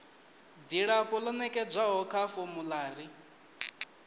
dzilafho ḽo nekedzwaho kha formulary